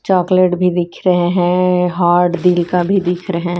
chocolate भी दिख रहे हैं हार्ड दिल का भी दिख रहे--